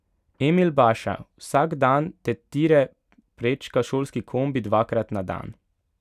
Emil Baša: 'Vsak dan te tire prečka šolski kombi dvakrat na dan.